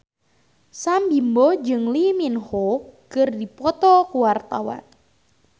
Sam Bimbo jeung Lee Min Ho keur dipoto ku wartawan